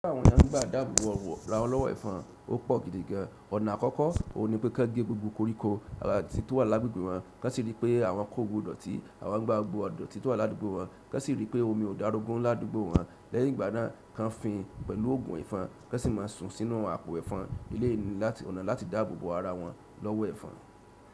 Kí àwọn èèyàn gbà dábò bo ara wọn lọ́wọ́ ẹ̀fọn, ó pọ̀ gidi gan. Ọ̀nà àkọ́kọ́ òun ni pé kí wọ́n gé gbogbo koríko àti ohun tí ó wà lágbègbè wọn, kí wọ́n sì ríi pé àwọn kò gbogbo ìdọ̀tí àwọn gbá gbogbo ìdọ̀tí ohun tí ó wà ládùúgbò wọn, kí wọ́n sì ríi pé omi ò dárugún ládùúgbò wọn. Lẹ́yìn ìgbà náà, kí wọ́n fín pẹ̀lú ògùn ẹ̀fọn, kí wọ́n sì máa sùn sínú àpò ẹ̀fọn ilé ní ọ̀nà láti dáàbò bo ara wọn lọ́wọ́ ẹ̀fọn.